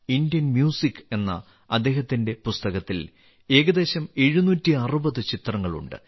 Indian music എന്ന അദ്ദേഹത്തിന്റെ പുസ്തകത്തിൽ ഏകദേശം 760 ചിത്രങ്ങൾ ഉണ്ട്